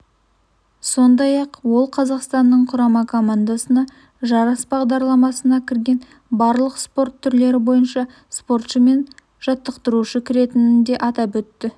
сондай-ақ ол қазақстанның құрама командасына жарыс бағдарламасына кірген барлық спорт түрлері бойынша спортшы мен жаттықтырушы кіретінін де атап өтті